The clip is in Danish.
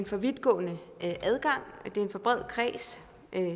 for vidtgående adgang det er en for bred kreds